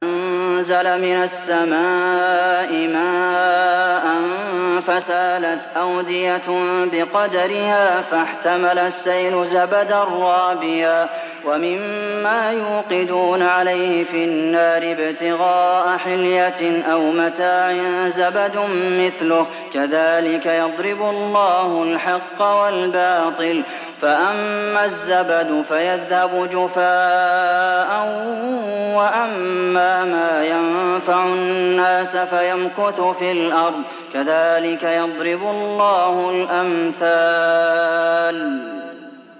أَنزَلَ مِنَ السَّمَاءِ مَاءً فَسَالَتْ أَوْدِيَةٌ بِقَدَرِهَا فَاحْتَمَلَ السَّيْلُ زَبَدًا رَّابِيًا ۚ وَمِمَّا يُوقِدُونَ عَلَيْهِ فِي النَّارِ ابْتِغَاءَ حِلْيَةٍ أَوْ مَتَاعٍ زَبَدٌ مِّثْلُهُ ۚ كَذَٰلِكَ يَضْرِبُ اللَّهُ الْحَقَّ وَالْبَاطِلَ ۚ فَأَمَّا الزَّبَدُ فَيَذْهَبُ جُفَاءً ۖ وَأَمَّا مَا يَنفَعُ النَّاسَ فَيَمْكُثُ فِي الْأَرْضِ ۚ كَذَٰلِكَ يَضْرِبُ اللَّهُ الْأَمْثَالَ